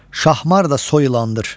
Şahmar da soy ilandır.